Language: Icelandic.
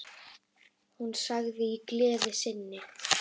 Hún sagði í gleði sinni: